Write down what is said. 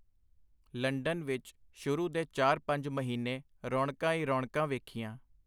London ਵਿਚ ਸ਼ੁਰੂ ਦੇ ਚਾਰ-ਪੰਜ ਮਹੀਨੇ ਰੌਣਕਾਂ ਈ ਰੌਣਕਾਂ ਵੇਖੀਆਂ.